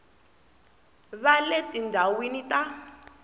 va le tindhawini ta le